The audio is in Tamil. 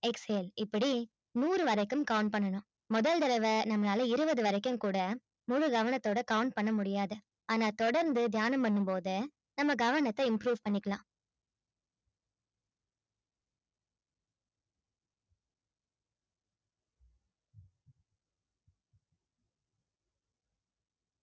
exhale இப்படி நூறு வரைக்கும் count பண்ணணும் முதல் தடவை நம்மளால இருபது வரைக்கும் கூட முழு கவனத்தோட count பண்ண முடியாது ஆனா தொடர்ந்து தியானம் பண்ணும் போது நம்ம கவனத்தை improve பண்ணிக்கலாம்